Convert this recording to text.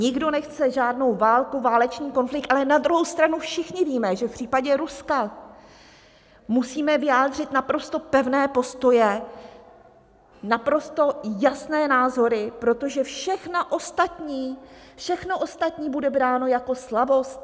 Nikdo nechce žádnou válku, válečný konflikt, ale na druhou stranu všichni víme, že v případě Ruska musíme vyjádřit naprosto pevné postoje, naprosto jasné názory, protože všechno ostatní bude bráno jako slabost.